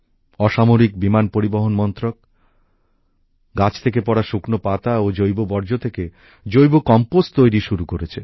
অসামরিক বিমান পরিবহন মন্ত্রক গাছ থেকে পড়া শুকনো পাতা ও জৈব বর্জ্য থেকে জৈব কম্পোস্ট তৈরি শুরু করেছে